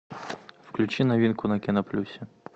включи новинку на кино плюсе